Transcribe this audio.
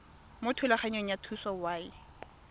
mo thulaganyong ya thuso y